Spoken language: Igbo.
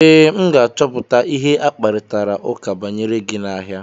Ee, m ga-achọpụta ihe akparitara ụka banyere gị n'ahịa.